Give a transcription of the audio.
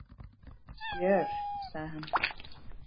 Sure, sagði hann.